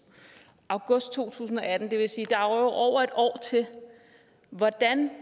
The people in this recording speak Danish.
august to tusind og atten det vil sige at der er over et år til hvordan